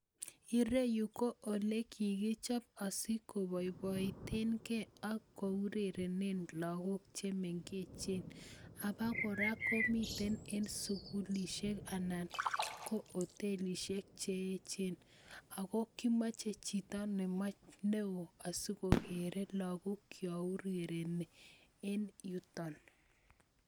ireyu ko olekikichop asikoboiboitenge lakok chemengechen, apokora komiten en sikulisiek anan ko hotelistiek cheechen ako kimoche chito neo asikokere lakok chaurereni en yuton.